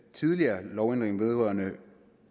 tidligere lovændring vedrørende